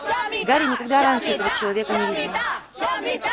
гарри никогда раньше этого человека не видел